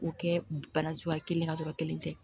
K'o kɛ bana suguya kelen ka sɔrɔ kelen tɛ